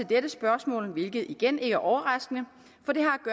dette spørgsmål hvilket igen ikke er overraskende for det